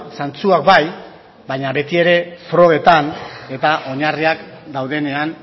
zantzuak bai baina betiere frogetan eta oinarriak daudenean